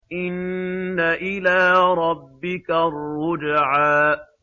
إِنَّ إِلَىٰ رَبِّكَ الرُّجْعَىٰ